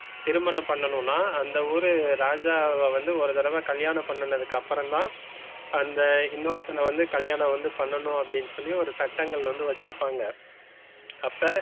திருமண பண்ணனும்னா அந்த ஊரு ராஜாவ வந்து ஒரு தடவை கல்யாணம் பண்ணதுக்கு அப்புறம் தான் அந்த இன்னொருத்தன் வந்து கல்யாணம் வந்து பண்ணனும், அப்படின்னு சொல்லி ஒரு சட்டங்கள் வந்து வச்சிருப்பாங்க அப்ப,